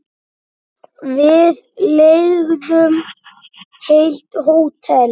Við leigðum heilt hótel.